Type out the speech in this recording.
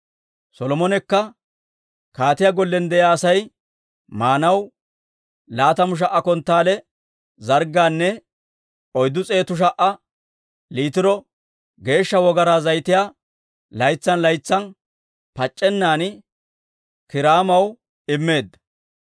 Solomonekka kaatiyaa gollen de'iyaa Asay maanaw laatamu sha"a konttaale zarggaanne oyddu s'eetu sha"a liitiro geeshsha wogaraa zayitiyaa laytsan laytsan pac'c'ennan Kiiraamaw immeedda.